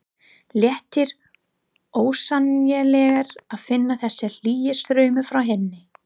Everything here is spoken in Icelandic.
Léttir ósegjanlega að finna þessa hlýju strauma frá henni.